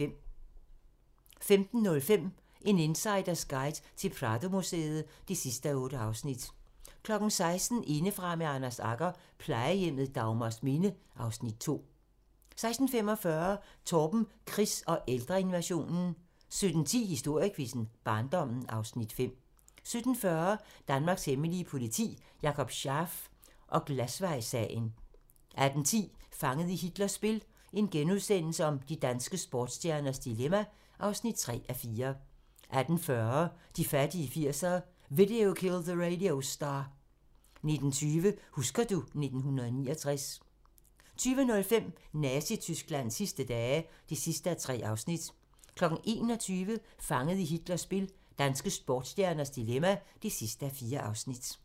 15:05: En insiders guide til Pradomuseet (8:8) 16:00: Indefra med Anders Agger - Plejehjemmet Dagmarsminde (Afs. 2) 16:45: Torben Chris og ældreinvasionen 17:10: Historiequizzen: Barndommen (Afs. 5) 17:40: Danmarks hemmelige politi: Jakob Scharf og Glasvejssagen 18:10: Fanget i Hitlers spil - danske sportsstjernes dilemma (3:4)* 18:40: De fattige 80'ere: Video Killed the Radio Star 19:20: Husker du ... 1969 20:05: Nazi-Tysklands sidste dage (3:3) 21:00: Fanget i Hitlers spil - danske sportsstjerners dilemma (4:4)